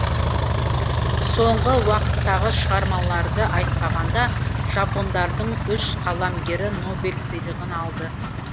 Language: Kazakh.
соңғы уақыттағы шығармаларды айтпағанда жапондардың үш қаламгері нобель сыйлығын алды